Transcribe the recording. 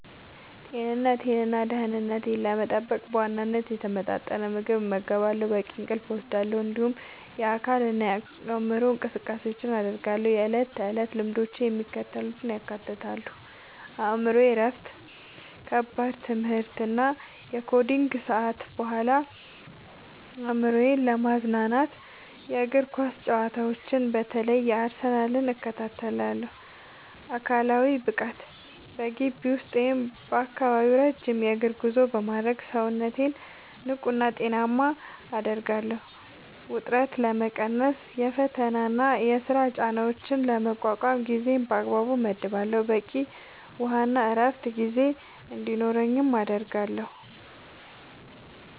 ጤንነቴንና ደህንነቴን ለመጠበቅ በዋናነት የተመጣጠነ ምግብ እመገባለሁ፣ በቂ እንቅልፍ እወስዳለሁ፣ እንዲሁም የአካልና የአእምሮ እንቅስቃሴዎችን አደርጋለሁ። የዕለት ተዕለት ልምዶቼ የሚከተሉትን ያካትታሉ፦ የአእምሮ እረፍት፦ ከከባድ የትምህርትና የኮዲንግ ሰዓታት በኋላ አእምሮዬን ለማዝናናት የእግር ኳስ ጨዋታዎችን (በተለይ የአርሰናልን) እከታተላለሁ። አካላዊ ብቃት፦ በግቢ ውስጥ ወይም በአካባቢው ረጅም የእግር ጉዞ በማድረግ ሰውነቴን ንቁና ጤናማ አደርጋለሁ። ውጥረት መቀነስ፦ የፈተናና የሥራ ጫናዎችን ለመቋቋም ጊዜን በአግባቡ እመድባለሁ፣ በቂ የውሃና የዕረፍት ጊዜ እንዲኖረኝም አደርጋለሁ።